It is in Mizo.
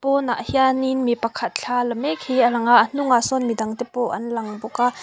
pawnah hianin mi pakhat thla la mek hi a lang a a hnungah sawn midangte pawh an lang bawk a.